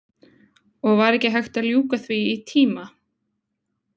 Og var ekki hægt að ljúka því í tíma?